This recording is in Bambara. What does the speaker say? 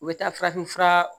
U bɛ taa farafin fura